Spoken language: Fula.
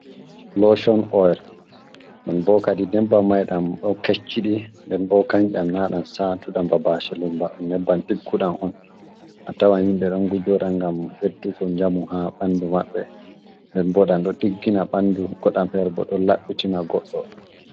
Loocon oyel ɗon bo kadi nyebbam may ɗam ɗo kecciɗi. Nden bo kanjam ɗam saatuɗam ba basilim ,nebbam ɗigguɗam on a tawa yimɓe ɗon ngujɗa .Ngam ɓeddugo njamu haa ɓanndu maɓɓe. Nden bo ɗam ɗo ɗiggina ɓanndu ,goɗɗam feere bo ɗon laɓɓitina goɗɗo.